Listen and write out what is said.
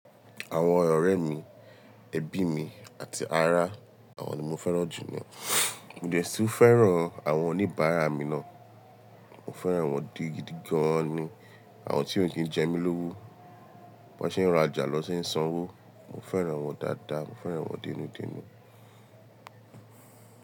Àwọn ọ̀rẹ́ mi, ẹbí mi àti ará awọn ni mo fẹ́ràn jù ní. Mo dè tu ń fẹ́ràn àwọn oníbàárà mi ná. Mo fẹ́ràn wọ́n di gidi gan ni. Àwọn tí ó kí ń jẹ mí lówó, wọ́n ṣé ń rajà na ṣé ń sanwó. Mo fẹ́ràn wọ́n dáadáa, mo fẹ́ràn wọ́n dẹnu dẹnu.